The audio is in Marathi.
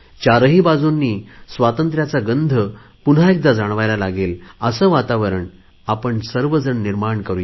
चारही बाजूंनी स्वातंत्र्यांचा गंध पुन्हा एकदा जाणवायला लागेल असे वातावरण आपण सर्वजण निर्माण करु